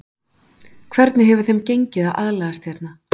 Hvernig hefur þeim gengið að aðlagast hérna?